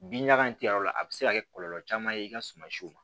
Bin ɲaga in tɛ yɔrɔ la a bɛ se ka kɛ kɔlɔlɔ caman ye i ka suma siw ma